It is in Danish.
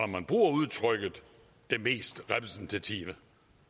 man bruger udtrykket det mest repræsentative